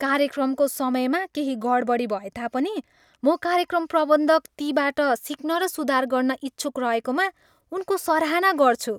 कार्यक्रमको समयमा केही गडबडी भएता पनि, म कार्यक्रम प्रबन्धक तीबाट सिक्न र सुधार गर्न इच्छुक रहेकामा उनको सराहना गर्छु।